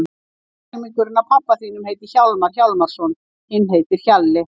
Annar helmingurinn af pabba þínum heitir Hjálmar Hjálmarsson, hinn heitir Hjalli.